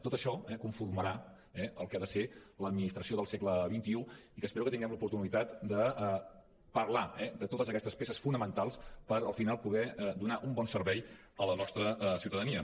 tot això conformarà el que ha de ser l’administració del segle xxi i que espero que tinguem l’oportunitat de parlar de totes aquestes peces fonamentals per al final poder donar un bon servei a la nostra ciutadania